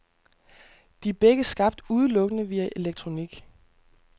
De er begge skabt udelukkende via elektronik.